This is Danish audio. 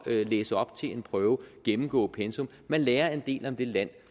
ved at læse op til en prøve og gennemgå pensum man lærer en del om det land